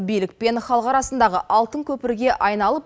билік пен халық арасындағы алтын көпірге айналып